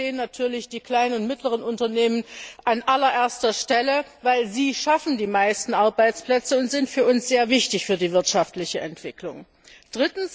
Da stehen natürlich die kleinen und mittleren Unternehmen an allererster Stelle, denn sie schaffen die meisten Arbeitsplätze und sind für die wirtschaftliche Entwicklung sehr wichtig.